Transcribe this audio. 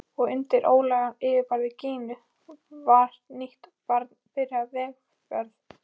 Og undir ólgandi yfirborði Gínu var nýtt barn byrjað vegferð.